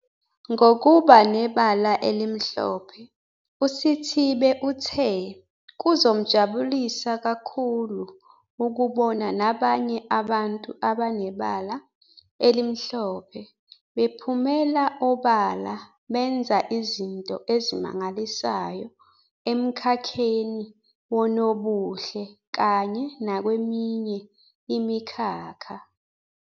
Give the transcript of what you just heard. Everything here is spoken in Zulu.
Ngokuba nebala elimhlophe uSithibe uthe kuzomjabulisa kakhulu ukubona nabanye abantu abanebala elimhlophe bephumela obala benza izinto ezimangalisayo emkhakheni wonobuhle kanye nakweminye imikhakha.